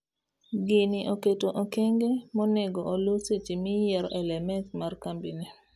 gini oketo okenge monego oluu seche miyiero LMS mar kambini.